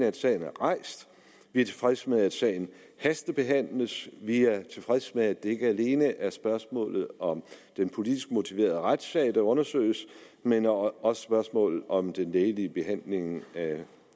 at sagen er rejst vi er tilfredse med at sagen hastebehandles vi er tilfredse med at det ikke alene er spørgsmålet om den politisk motiverede retssag der undersøges men også spørgsmålet om den lægelige behandling af